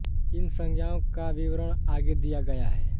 इन संज्ञाओं का विवरण आगे दिया गया है